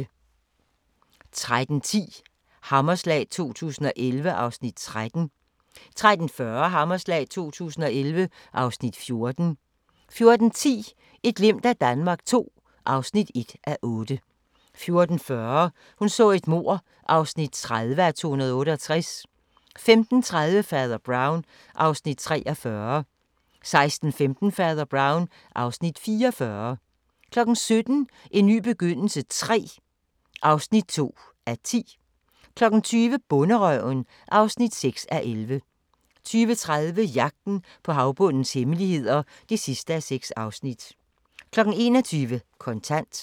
13:10: Hammerslag 2011 (Afs. 13) 13:40: Hammerslag 2011 (Afs. 14) 14:10: Et glimt af Danmark II (1:8) 14:40: Hun så et mord (30:268) 15:30: Fader Brown (Afs. 43) 16:15: Fader Brown (Afs. 44) 17:00: En ny begyndelse III (2:10) 20:00: Bonderøven (6:11) 20:30: Jagten på havbundens hemmeligheder (6:6) 21:00: Kontant